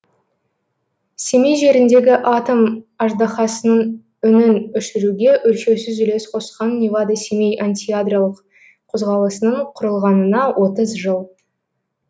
семей жеріндегі атом аждаһасының үнін өшіруге өлшеусіз үлес қосқан невада семей антиядролық қозғалысының құрылғанына отыз жыл